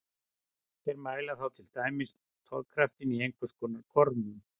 Þær mæla þá til dæmis togkraftinn í einhvers konar gormum.